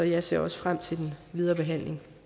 jeg ser også frem til den videre behandling